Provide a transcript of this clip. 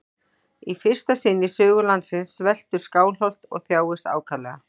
Í fyrsta sinn í sögu landsins sveltur Skálholt og þjáist ákaflega.